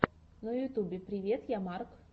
на ютьюбе привет я марк